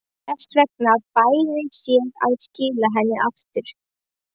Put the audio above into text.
Þess vegna bæri sér að skila henni aftur.